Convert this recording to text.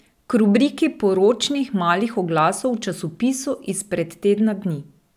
K rubriki poročnih malih oglasov v časopisu izpred tedna dni.